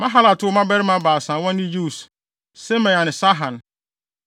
Mahalat woo mmabarima baasa a wɔne Yeus, Semaria ne Saham.